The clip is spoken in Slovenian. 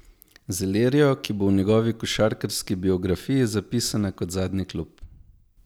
Z Ilirijo, ki bo v njegovi košarkarski biografiji zapisana kot zadnji klub.